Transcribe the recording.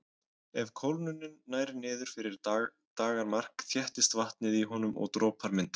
Ef kólnunin nær niður fyrir daggarmark þéttist vatnið í honum og dropar myndast.